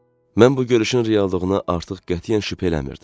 Mən bu görüşün reallığına artıq qətiyyən şübhə eləmirdim.